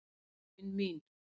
laun mín.